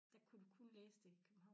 Der kunne du kun læse det i københavn